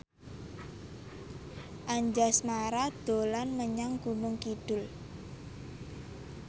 Anjasmara dolan menyang Gunung Kidul